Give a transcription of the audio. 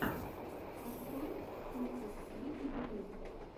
открой сикритлитудрим